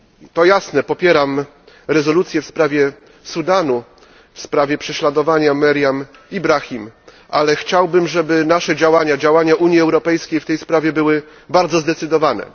To jasne, popieram rezolucję w sprawie Sudanu, w sprawie prześladowania Meriam Ibrahim, ale chciałbym, żeby nasze działania działania Unii Europejskiej w tej sprawie były bardzo zdecydowane.